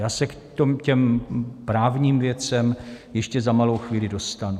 Já se k těm právním věcem ještě za malou chvíli dostanu.